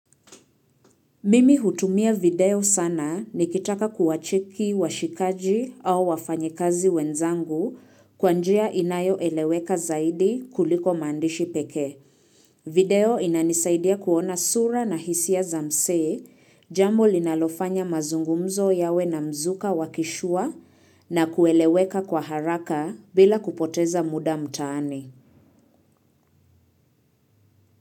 Mimi hutumia video sana nikitaka kuachuki washikaji au wafanyekazi wenzangu kwa njia inayoeleweka zaidi kuliko maandishi peke. Video inanisaidia kuona sura na hisia za msee, jambo linalofanya mazungumzo yawe na mzuka wa kishua na kueleweka kwa haraka bila kupoteza muda mtaani.